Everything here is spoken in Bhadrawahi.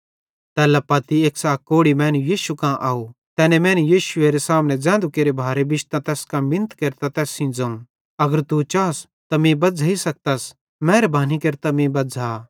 तैल्ला पत्ती एक्सां अक कोढ़ी मैनू यीशु कां आव तैनी मैने यीशुएरे सामने ज़ैन्धु केरे भारे बिश्तां तैस कां मिन्नत केरतां तैस सेइं ज़ोवं अगर तू चास त मीं बज़्झ़ेई सकतस मेहरबानी केरतां मीं बज़्झ़ा